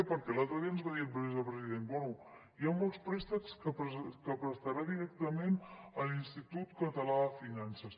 perquè l’altre dia ens va dir el vicepresident bé hi ha molts préstecs que prestarà directament l’institut català de finances